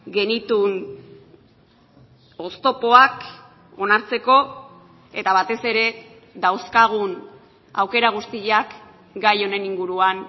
genituen oztopoak onartzeko eta batez ere dauzkagun aukera guztiak gai honen inguruan